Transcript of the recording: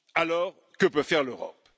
Alors que peut faire l'Europe?